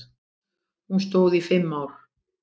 Hún stóð í fimm ár.